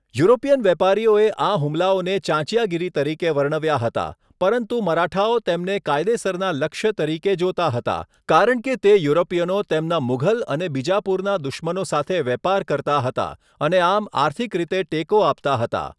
European વેપારીઓએ આ હુમલાઓને ચાંચિયાગીરી તરીકે વર્ણવ્યા હતા, પરંતુ મરાઠાઓ તેમને કાયદેસરના લક્ષ્ય તરીકે જોતા હતા કારણ કે તે યુરોપીયનો તેમના મુઘલ અને બીજાપુરના દુશ્મનો સાથે વેપાર કરતા હતા અને આમ આર્થિક રીતે ટેકો આપતા હતા.